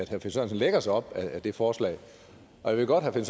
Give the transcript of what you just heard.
herre finn sørensen lægger sig op ad det forslag jeg ved godt at